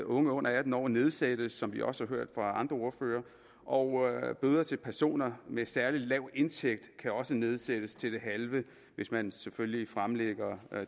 unge under atten år nedsættes som vi også har hørt fra andre ordførere og bøder til personer med særlig lav indtægt kan også nedsættes til det halve hvis man selvfølgelig fremlægger